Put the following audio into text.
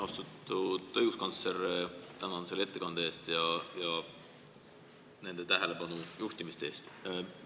Austatud õiguskantsler, tänan teid ettekande eest ja nende tähelepanu juhtimiste eest!